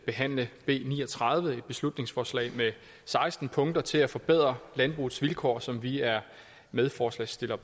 behandle b ni og tredive et beslutningsforslag med seksten punkter til at forbedre landbrugets vilkår som vi er medforslagsstiller